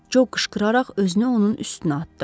Co qışqıraraq özünü onun üstünə atdı.